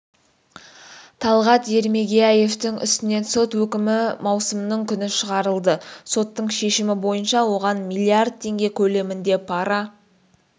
талғат ермегияевтың үстінен сот үкімі маусымның күні шығарылды соттың шешімі бойынша оған миллиарда тенге көлемінде пара